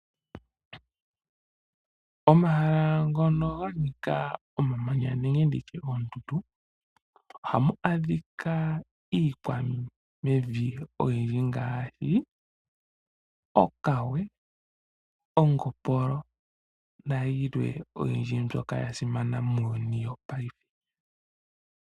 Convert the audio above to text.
Omahala ngono ga nika omamanya nenge nditye oondundu ohamu adhika iikwamevi oyindji ngaashi okawe, ongopolo nayilwe oyindji mbyoka ya simana muuyuni wopaife.